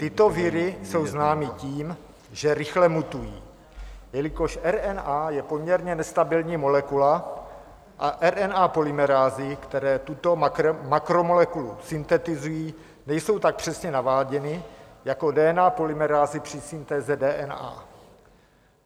Tyto viry jsou známy tím, že rychle mutují, jelikož RNA je poměrně nestabilní molekula a RNA polymerázy, které tuto makromolekulu syntetizují, nejsou tak přesně naváděny jako DNA polymerázy při syntéze DNA.